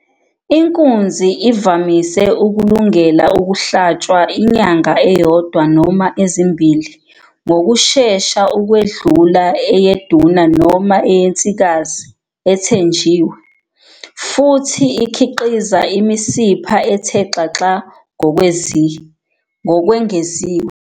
Inkunzi ivamise ukulungela ukuhlatshwa inyanga eyodwa noma ezimbili ngokushesha ukwedlula eyeduna noma eyensikazi ethenjiwe, futhi ikhiqiza imisipha ethe xaxa ngokwengeziwe.